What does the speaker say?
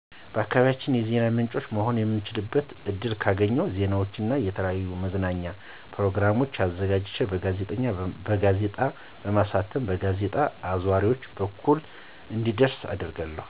ለአካባቢዬ የዜና ምንጭ መሆን የምችልበትን እድል ካገኝሁ ዜናዎችን እና የተለያዩ የመዝናኛ ፕርግሞችን አዘጋጅቼ በጋዜጣ በማሳተም በጋዜጣ አዟሪዎች በኩል እንዲዳረስ አደርጋለሁ።